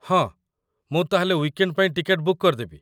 ହଁ, ମୁଁ ତା'ହେଲେ ୱିକ୍ଏଣ୍ଡ୍ ପାଇଁ ଟିକେଟ ବୁକ୍ କରିଦେବି।